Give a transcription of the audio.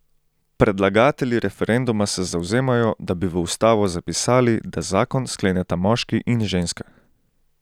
Predlagatelji referenduma se zavzemajo, da bi v ustavo zapisali, da zakon skleneta moški in ženska.